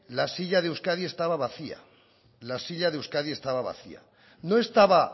la silla de euskadi estaba vacía no estaba